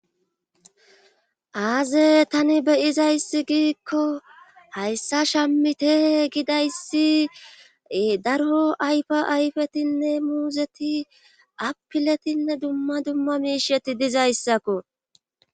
aaze tani beyizayssi giikko hayssa shammite gidayssi daro ayfa ayfetinne muuzeti appiletinne dumma dumma miisheti dizayssakko